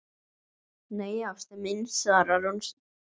Nei, ástin mín, svarar hún.